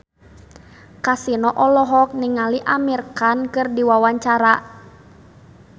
Kasino olohok ningali Amir Khan keur diwawancara